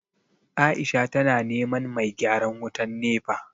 Aisha tana neman mai gyaran wutan NEPA